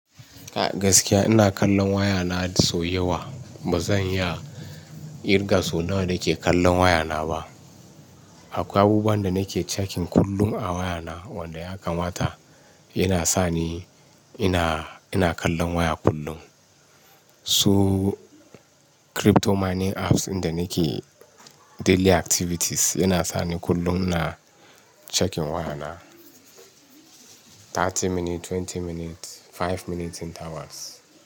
A gaskiya ina kallon wayana sau yawa. Ba zan iya ƙirga sau nawa nake kallon wayana ba. Akwai abubuwan da nake checking kullum a wayana wanda ya kamata yana sani ina, ina kallon waya kullum. Su crypto mining apps inda nake daily activities yana sani kullum ina checking wayana thirty minutes, twenty minutes, five minutes in hours.